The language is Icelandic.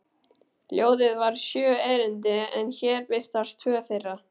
Ljóðið var sjö erindi en hér birtast tvö þeirra: